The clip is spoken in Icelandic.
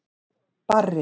Barri